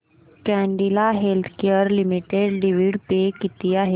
Cadila healthcare limited dividend pay किती आहे